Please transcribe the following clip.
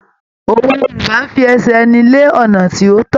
Òwe Yorùbá ń fi ẹsẹ̀ ẹni lé ọ̀nà tí ó tọ́.